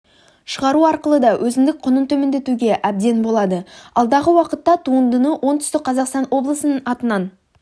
шығару арқылы да өзіндік құнын төмендетуге әбден болады алдағы уақытта туындыны оңтүстік қазақстан облысының атынан